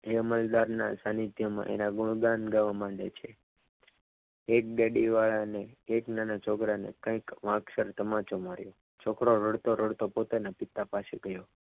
એ અમલદારના એના ગુણગાન ગાવા માંડે છે એક ડેડી વાળાને એક નાના છોકરાને કંઈક માપસર તમાચો માર્યો. છોકરો રડતો રડતો પોતાના પિતા પાસે ગયો.